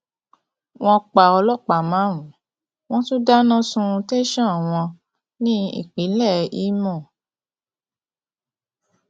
wọn pa ọlọpàá márùnún wọn tún dáná sun tẹsán wọn ní ìpínlẹ ìmọ